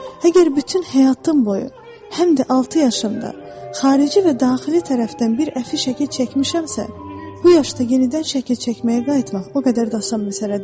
Əgər bütün həyatım boyu, həm də altı yaşımda xarici və daxili tərəfdən bir əfi şəkli çəkmişəmsə, bu yaşda yenidən şəkil çəkməyə qayıtmaq o qədər də asan məsələ deyil.